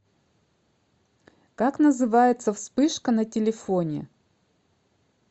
как называется вспышка на телефоне